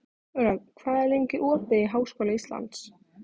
Rögn, hvað er lengi opið í Háskóla Íslands?